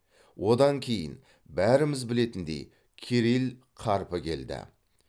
одан кейін бәріміз білетіндей кирилл қарпі келді